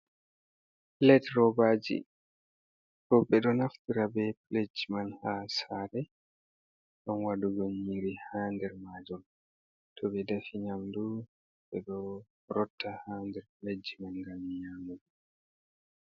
Plet robaji ɗo ɓeɗo edo naftra be pledgi man ha sare ngam waɗugo nyiri ha nder majun to ɓe defi nyamdu ɓe ɗo rotta ha nder pledgi man ngam nyamugo.